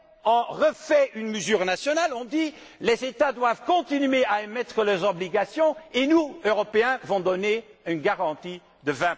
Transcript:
fait? On refait une mesure nationale. On dit Les États doivent continuer à émettre les obligations et nous, Européens, allons donner une garantie